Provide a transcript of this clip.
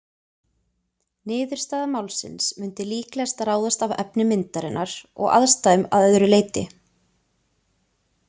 Niðurstaða málsins mundi líklegast ráðast af efni myndarinnar og aðstæðum að öðru leyti.